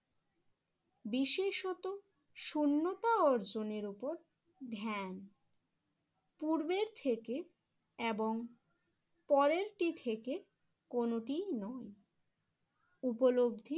বিশেষত শূন্যতা অর্জনের উপর ধ্যান পূর্বের থেকে এবং পরেরটি থেকে কোনোটিই নয় উপলব্ধি